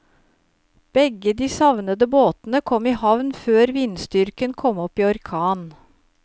Begge de savnede båtene kom i havn før vindstyrken kom opp i orkan.